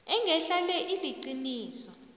engehla le iliqiniso